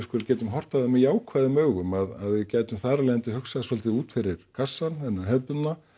getum horft á það með jákvæðum augum að við gætum þar af leiðandi hugsað svolítið út fyrir kassann þennan hefðbundna